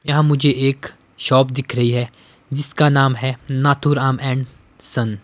यहां मुझे एक शॉप दिख रही हैजिसका नाम है नातुराम एंड सन --